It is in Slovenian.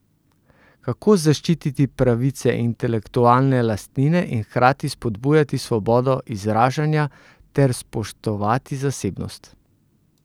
Kako zaščititi pravice intelektualne lastnine in hkrati spodbujati svobodo izražanja ter spoštovati zasebnost?